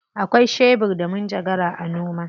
Akwai shebur da manjagara a noma.